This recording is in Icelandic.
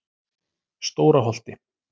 Stóra Holti